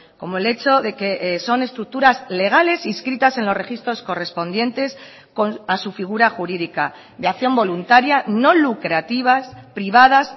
como el hecho de que son estructuras legales inscritas en los registros correspondientes a su figura jurídica de acción voluntaria no lucrativas privadas